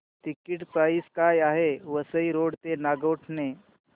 ticket price काय आहे Vasai road ते नागोठणे